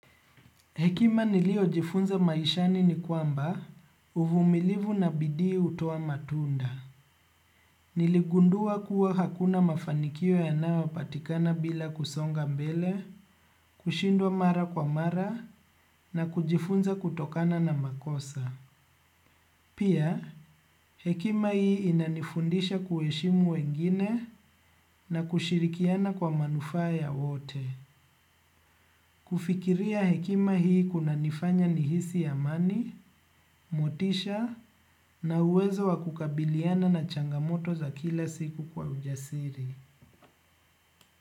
Hekima niliojifunza maishani ni kwamba uvumilivu na bidii hutoa matunda. Niligundua kuwa hakuna mafanikio yanayo patikana bila kusonga mbele kushindwa mara kwa mara na kujifunza kutokana na makosa. Pia hekima hii inanifundisha kuheshimu wengine na kushirikiana kwa manufaa ya wote. Kufikiria hekima hii kunanifanya nihisi amani motisha na uwezo wa kukabiliana na changamoto za kila siku kwa ujasiri.